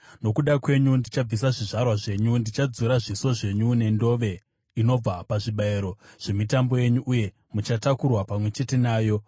“Nokuda kwenyu ndichabvisa zvizvarwa zvenyu; ndichadzura zviso zvenyu nendove inobva pazvibayiro zvemitambo yenyu, uye muchatakurwa pamwe chete nayo.